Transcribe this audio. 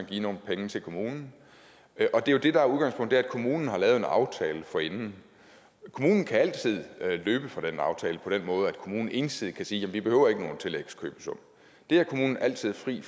give nogle penge til kommunen det der er udgangspunktet er kommunen har lavet en aftale forinden kommunen kan altid løbe fra den aftale på den måde at kommunen ensidigt kan sige vi behøver ikke nogen tillægskøbesum det er kommunen altid fri